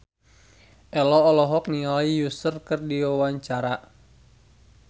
Ello olohok ningali Usher keur diwawancara